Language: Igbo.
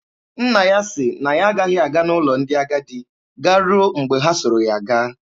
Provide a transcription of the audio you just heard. Nna ha sị na ya agaghị aga n'ụlọ ndị agadi garuo mgbe ha soro ya gaa.